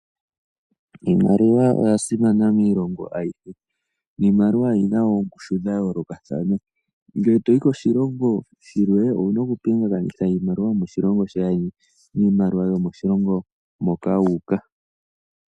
Iimaliwa oya simana miilongo ayihe, niimaliwa oyina oongushu dha yoolokathana. Ngele toyi koshilongo shilwe owuna oku pingakanitha iimaliwa yomoshilongo sheni niimaliwa yomoshilongo moka wa uka.